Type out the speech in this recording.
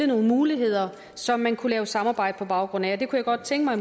nogle muligheder som man kunne lave et samarbejde på baggrund af jeg kunne godt tænke mig